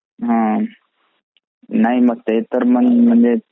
हा नाही मग ते तर मग म्हणजे